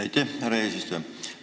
Aitäh, härra eesistuja!